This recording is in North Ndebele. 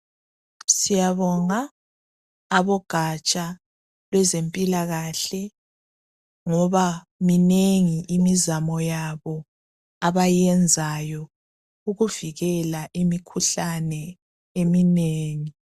Siyabonga abogatsha lwezempilakahle ngoba minengi imizamo yabo abayenzayo ukuvikela imikhuhlane eminengi.